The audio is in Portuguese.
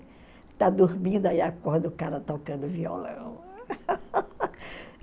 Está dormindo, aí acorda o cara tocando violão.